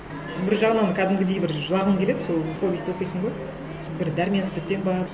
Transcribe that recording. бір жағынан кәдімгідей бір жылағың келеді сол повестьті оқисың ғой бір дәрменсіздіктен бе